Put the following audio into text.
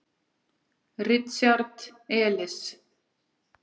Richard Elis.